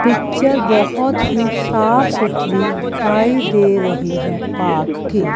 Picture बहोत ही साफ सुथरी दिखाई दे रही हैं पार्क की।